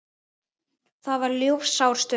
Það var ljúfsár stund.